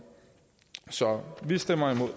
så vi stemmer imod